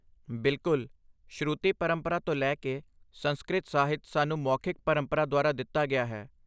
ਬਿਲਕੁਲ! ਸ਼ਰੂਤੀ ਪਰੰਪਰਾ ਤੋਂ ਲੈ ਕੇ, ਸੰਸਕ੍ਰਿਤ ਸਾਹਿਤ ਸਾਨੂੰ ਮੌਖਿਕ ਪਰੰਪਰਾ ਦੁਆਰਾ ਦਿੱਤਾ ਗਿਆ ਹੈ।